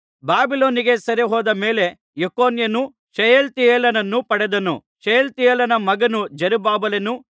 ಬಾಬಿಲೋನಿಗೆ ಸೆರೆಹೋದ ಮೇಲೆ ಯೆಕೊನ್ಯನು ಶೆಯಲ್ತಿಯೇಲನನ್ನು ಪಡೆದನು ಶೆಯಲ್ತಿಯೇಲನ ಮಗನು ಜೆರುಬ್ಬಾಬೆಲನು